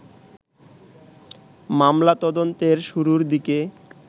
মামলা তদন্তের শুরুর দিকে